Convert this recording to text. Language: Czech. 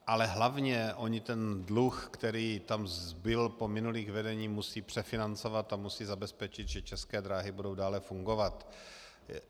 Ale hlavně oni ten dluh, který tam zbyl po minulých vedeních, musí přefinancovat a musí zabezpečit, že České dráhy budou dále fungovat.